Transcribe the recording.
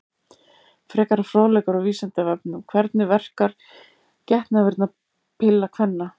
Frekari fróðleikur á Vísindavefnum: Hvernig verkar getnaðarvarnarpilla kvenna?